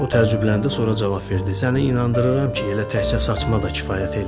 O təəccübləndi, sonra cavab verdi: "Səni inandırıram ki, elə təkcə saçma da kifayət eləyər."